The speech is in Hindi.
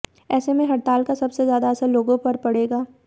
ऐसे में हड़ताल का सबसे ज्यादा असर लोगों पर पड़ेगा